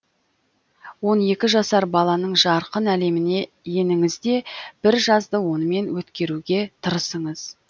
он екі жасар баланың жарқын әлеміне еніңіз де бір жазды онымен өткеруге тырысыңыз